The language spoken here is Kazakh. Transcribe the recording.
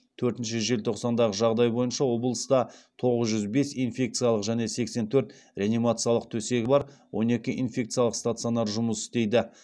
төртінші желтоқсандағы жағдай бойынша облыста тоғыз жүз бес инфекциялық және сексен төрт реанимациялық төсегі бар он екі инфекциялық стационар жұмыс істейді